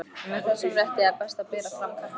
Með þessum rétti er best að bera fram kartöflur.